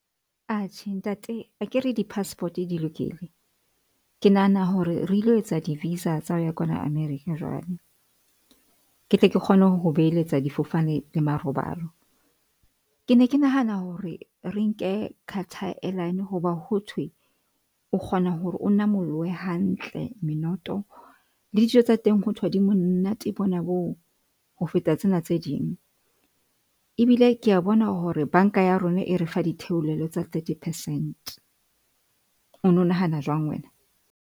Atjhe, ntate akere di-passport di lokile. Ke nahana hore re ilo etsa di-visa tsa ho ya kwana America jwale. Ke tle ke kgone ho beheletsa difofane le marobalo. Ke ne ke nahana hore re nke Carter Airline hoba hothwe o kgona hore o namolohe hantle menoto le dijo tsa teng hothwe di monate bona boo ho feta tsena tse ding, ebile ke a bona hore banka ya rona e re fa di theolelo tsa thirty percent. O no nahana jwang wena?